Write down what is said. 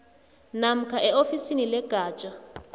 namkha eofisini legatja